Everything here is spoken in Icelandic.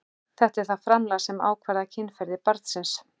Það er þetta framlag sem ákvarðar kynferði barnsins.